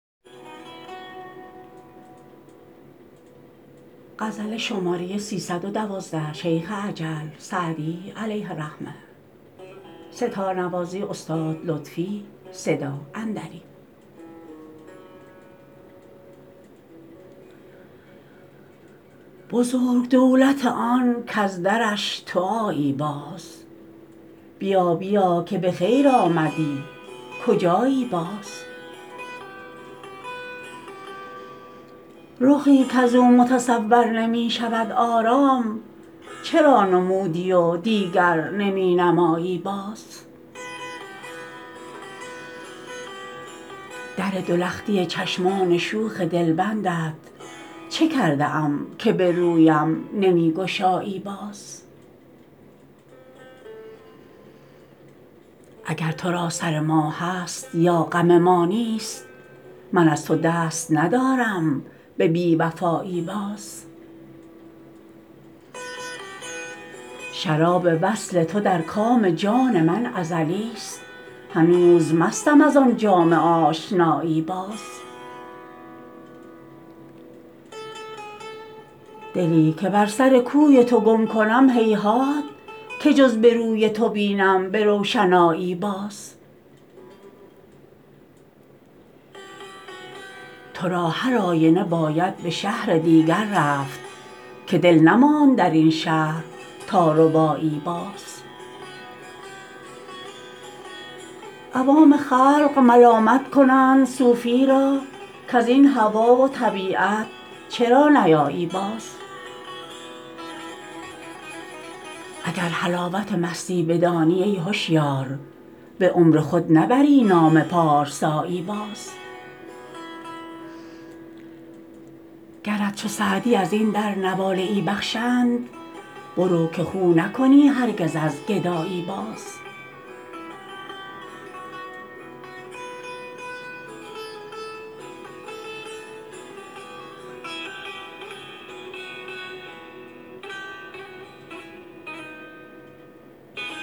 بزرگ دولت آن کز درش تو آیی باز بیا بیا که به خیر آمدی کجایی باز رخی کز او متصور نمی شود آرام چرا نمودی و دیگر نمی نمایی باز در دو لختی چشمان شوخ دلبندت چه کرده ام که به رویم نمی گشایی باز اگر تو را سر ما هست یا غم ما نیست من از تو دست ندارم به بی وفایی باز شراب وصل تو در کام جان من ازلیست هنوز مستم از آن جام آشنایی باز دلی که بر سر کوی تو گم کنم هیهات که جز به روی تو بینم به روشنایی باز تو را هر آینه باید به شهر دیگر رفت که دل نماند در این شهر تا ربایی باز عوام خلق ملامت کنند صوفی را کز این هوا و طبیعت چرا نیایی باز اگر حلاوت مستی بدانی ای هشیار به عمر خود نبری نام پارسایی باز گرت چو سعدی از این در نواله ای بخشند برو که خو نکنی هرگز از گدایی باز